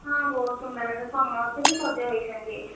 ହଁ ବହୁତ୍ ସୁନ୍ଦର ଲାଗନ୍ତି ସମସ୍ତେ ବି ସଜ ହେଇଛନ୍ତି ଏଠି।